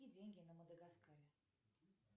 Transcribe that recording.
какие деньги на мадагаскаре